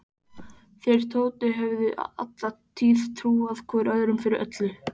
Þeir Tóti höfðu alla tíð trúað hvor öðrum fyrir öllu.